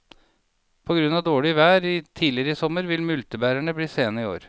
På grunn av dårlig vær tidligere i sommer vil multebærene bli sene i år.